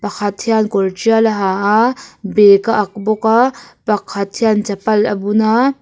pakhat hian kawr trial a ha a bag a ak bawk a pakhat hian chapal a bun a--